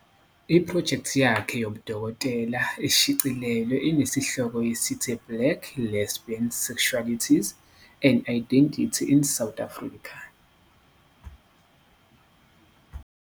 Iphrojekthi yakhe yobudokotela eshicilelwe inesihloko esithi Black Lesbian Sexualities and Identity in South Africa.